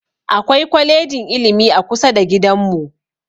Akwai kwalejin ilimi a kusa da gidan mu